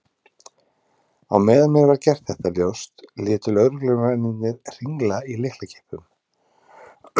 Á meðan mér var gert þetta ljóst létu lögreglumennirnir hringla í lyklakippum.